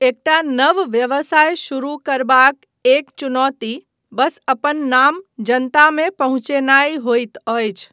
एकटा नव व्यवसाय शुरू करबाक एक चुनौती बस अपन नाम जनतामे पहुँचेनाय होइत अछि।